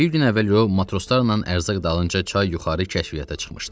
Bir gün əvvəl o, matroslarla ərzaq dalınca çay yuxarı kəşfiyyata çıxmışdı.